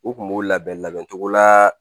U kun b'u labɛn labɛn cogo la